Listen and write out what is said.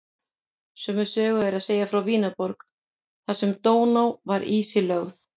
Sömu sögu er að segja frá Vínarborg þar sem Dóná var ísilögð.